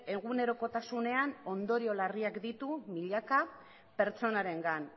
egunerokotasunean ondorio larriak ditu milaka pertsonarengan